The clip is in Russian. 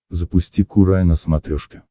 запусти курай на смотрешке